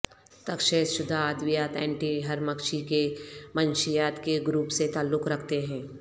تشخیص شدہ ادویات اینٹی ہرمکشی کے منشیات کے گروپ سے تعلق رکھتے ہیں